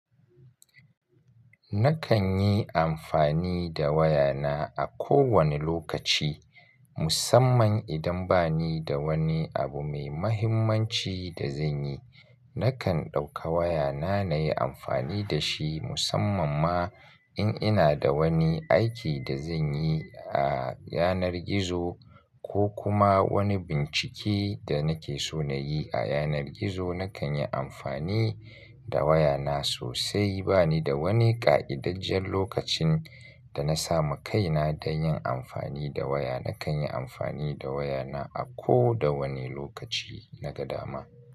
Nakan yi amfani da waya na a kowane lokaci, musamman idan bani da wani abu mai muhimmanci da zan yi. Nakan ɗauka waya na na yi amfani da shi musamman ma in ina da wani aiki da zan yi a yanar gizo ko kuma wani bincike da nake so na yi a yanar gizo. Nakan yi amfani da waya na sosai. Ba ni da wani ƙa'idajjen lokacin da na sami kaina don yin amfani da waya. Nakan yi amfani da waya na a ko da wane lokaci na ga dama.